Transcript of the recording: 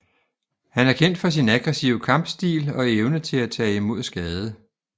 Han er kendt for sin aggressive kampstil og evne til at tage imod skade